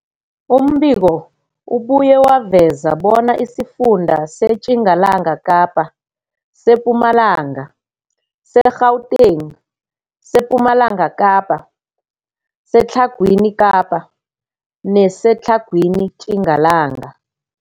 Umbiko ubuye waveza bona isifunda seTjingalanga Kapa, seMpumalanga, seGauteng, sePumalanga Kapa, seTlhagwini Kapa neseTlhagwini Tjingalanga.